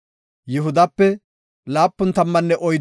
Yoosefa na7aa Minaasepe 32,200